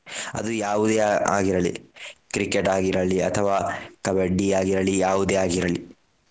ಅದು ಯಾವುದೇ ಆಗಿರಲಿ Cricket ಆಗಿರಲಿ ಅಥವಾ Kabaddi ಆಗಿರಲಿ ಯಾವುದೇ ಆಗಿರಲಿ.